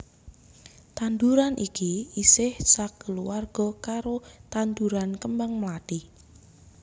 Tanduran iki isih sakeluwarga karo tanduran kembang mlathi